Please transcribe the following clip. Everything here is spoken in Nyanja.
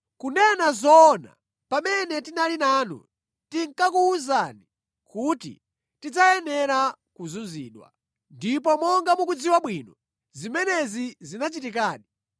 Kunena zoona, pamene tinali nanu, tinkakuwuzani kuti tidzayenera kuzunzidwa. Ndipo monga mukudziwa bwino, zimenezi zinachitikadi.